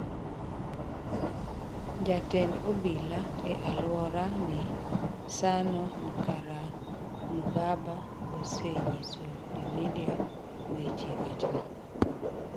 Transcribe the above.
Jatend obila e aluora ni, Sano Nkeramugaba, osenyiso jomedia weche wachno.